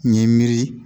N ye miiri